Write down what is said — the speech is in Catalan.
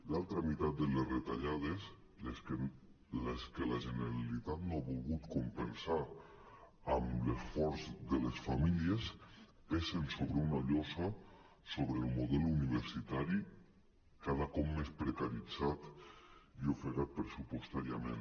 l’altra meitat de les retallades les que la generalitat no ha volgut compensar amb l’esforç de les famílies pesen com una llosa sobre el model universitari cada cop més precaritzat i ofegat pressupostàriament